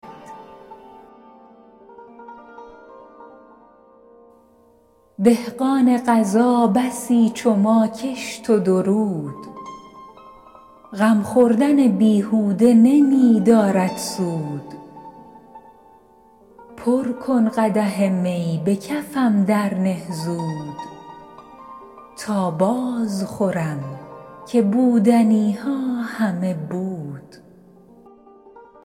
دهقان قضا بسی چو ما کشت و درود غم خوردن بیهوده نمی دارد سود پر کن قدح می به کفم درنه زود تا باز خورم که بودنی ها همه بود